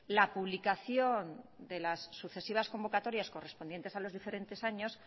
la publicación de las sucesivas convocatorias correspondientes a los diferentes años